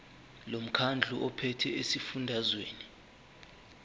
lomkhandlu ophethe esifundazweni